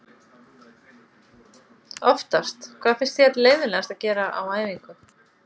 oftast Hvað finnst þér leiðinlegast að gera á æfingu?